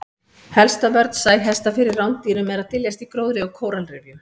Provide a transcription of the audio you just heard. Helsta vörn sæhesta fyrir rándýrum er að dyljast í gróðri og kóralrifjum.